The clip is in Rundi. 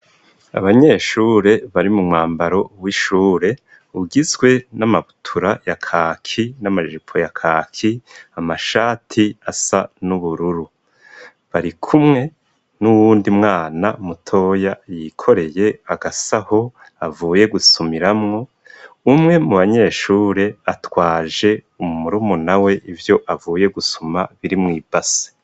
Abanyeshure bari mu mwambaro w'ishure, ugizwe n'amabutura ya kaki n'amajipo ya kaki, amashati asa n'ubururu. Barikumwe n'uwundi mwana mutoya yikoreye agasaho avuye gusumiramwo umwe mu banyeshure atwaje murumuna we ivyo avuye gusuma biri mw'ibase.